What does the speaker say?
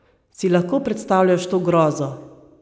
Si lahko predstavljaš to grozo?